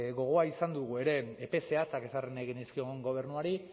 gogoa izan dugu ere epe zehatzak ezarri nahi genizkion gobernuari